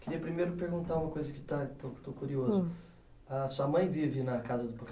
Queria primeiro perguntar uma coisa que está estou estou curioso. A sua mãe vive na casa do